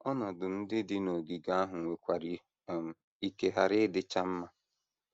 Ọnọdụ ndị dị n’ogige ahụ nwekwara um ike ghara ịdịcha mma.